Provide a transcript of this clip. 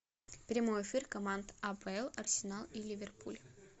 прямой эфир команд апл арсенал и ливерпуль